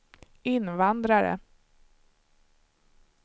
invandrare